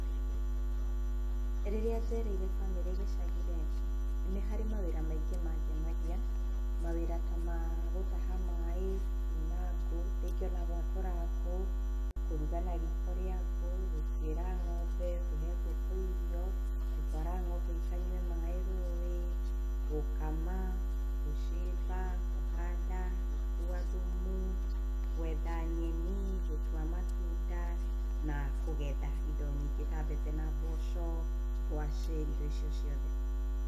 Rĩrĩa njereire bamĩrĩ gĩcagĩ rĩ, nĩ harĩ mawĩra maingĩ mangenagia. Mawĩra ta magũtaha maĩ, kuuna ngũũ, rĩngĩ ona gwatũra ngũũ, kũruga na riko rĩa ngũũ, gũtuĩra ng'ombe, kũhe ngũkũ irio, gũtwara ng'ombe ikanyue maĩ rũĩ, gũkama, gũcimba, kũhanda, gũkuwa thumu, gwetha nyeni, gũtua matunda na kũgetha indo nyingĩ ta mbembe na mboco, ngwaci. Indo icio ciothe.